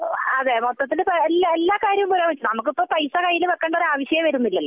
അതെ മൊത്തത്തിൽ എല്ലാ കാര്യവും നമ്മക്ക് ഇപ്പൊ പൈസ നമ്മക്ക് കയ്യിൽ വെക്കേണ്ട ആവശ്യമേ വരുന്നില്ലല്ലോ